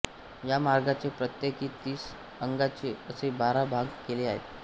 या मार्गाचे प्रत्येकी तीस अंशाचे असे बारा भाग केले आहेत